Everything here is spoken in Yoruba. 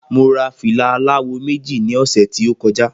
Mo ra fìlà àlawò méjì ní ọ̀sẹ̀ tí o koja